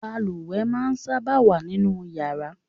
Balùwè máa ń sábà wà nínú yàrá